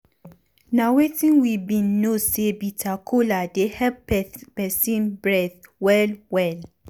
na wetin we bin know say bitter kola dey help peson breath well well.